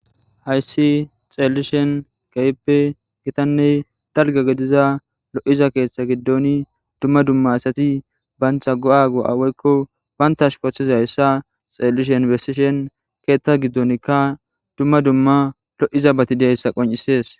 hayssi xeellishen gayippe gitanney dalga gediza lo7iza keeththa giddoni dumma dumma asati bantha go7a go7aweykko banta shupothizayssa xeellish infestishen keeththa giddonkka dumma dumma lo7iza batideayssa qoncisees